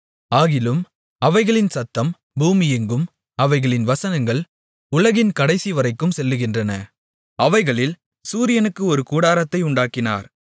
ஆகிலும் அவைகளின் சத்தம் பூமியெங்கும் அவைகளின் வசனங்கள் உலகின் கடைசிவரைக்கும் செல்லுகின்றன அவைகளில் சூரியனுக்கு ஒரு கூடாரத்தை உண்டாக்கினார்